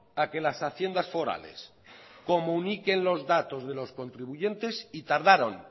a que las haciendas forales comuniquen los datos de los contribuyentes y tardaron